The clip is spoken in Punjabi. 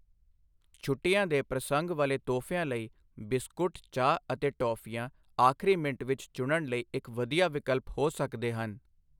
ਛੁੱਟੀਆਂ ਦੇ ਪ੍ਰਸੰਗ ਵਾਲੇ ਤੋਹਫ਼ਿਆਂ ਲਈ ਬਿਸਕੁਟ, ਚਾਹ ਅਤੇ ਟੌਫ਼ੀਆਂ ਆਖਰੀ ਮਿੰਟ ਵਿੱਚ ਚੁਣਨ ਲਈ ਇੱਕ ਵਧੀਆ ਵਿਕਲਪ ਹੋ ਸਕਦੇ ਹਨ।